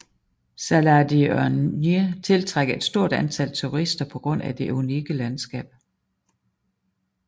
Salar de Uyuni tiltrækker et stort antal turister på grund af det unikke landskab